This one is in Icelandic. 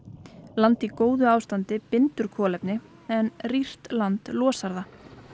land í góðu ástandi bindur kolefni en rýrt land losar það